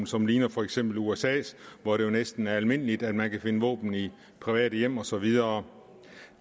som ligner for eksempel usas hvor det jo næsten er almindeligt at man kan finde våben i private hjem og så videre